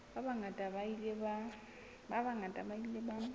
ba bangata ba ile ba